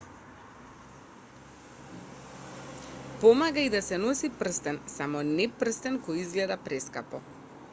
помага и да се носи прстен само не прстен кој изгледа прескапо